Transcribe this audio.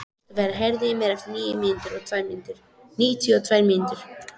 Kristofer, heyrðu í mér eftir níutíu og tvær mínútur.